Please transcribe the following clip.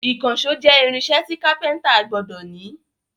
Ìkànṣó jẹ́ irinṣẹ́ tí kápẹ́ńtà gbọdọ̀ ní.